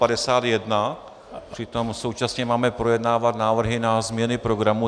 Přitom současně máme projednávat návrhy na změny programu.